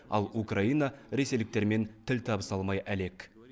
ал украина ресейліктермен тіл табыса алмай әлек